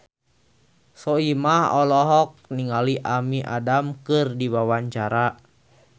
Soimah olohok ningali Amy Adams keur diwawancara